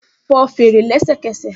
Fọ́ fèrè lẹ́sẹ̀kẹsẹ̀!